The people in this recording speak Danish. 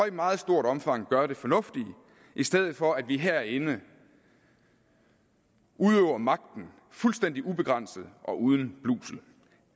et meget stort omfang gør det fornuftige i stedet for at vi herinde udøver magten fuldstændig ubegrænset og uden blusel